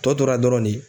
Tɔ tora dɔrɔn de